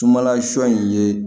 Sumanla sɔ in ye